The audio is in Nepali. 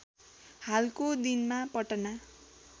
हालको दिनमा पटना